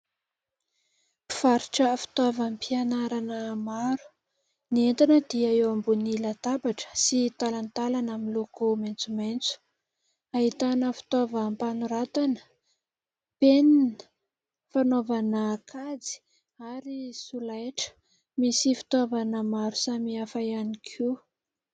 Mpivarotra fitaovam-pianarana maro ; ny entana dia eo ambony latabatra sy talantalana miloko maitsomaitso. Ahitana fitaovam-panoratana : penina, fanaovana kajy ary solaitra. Misy fitaovana maro samihafa ihany koa.